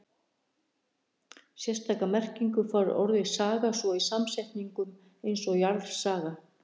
sérstaka merkingu fær orðið saga svo í samsetningum eins og jarðsaga